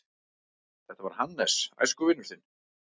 Þetta var Hannes, æskuvinur þinn.